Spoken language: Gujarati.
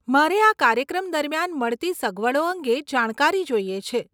મારે આ કાર્યક્રમ દરમિયાન મળતી સગવડો અંગે જાણકારી જોઈએ છે.